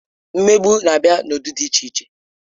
Mmegbu na-abịa n'ụdị dị iche iche.